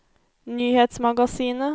nyhetsmagasinet